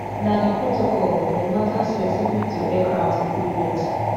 na di protocol on matters specific to aircraft equipment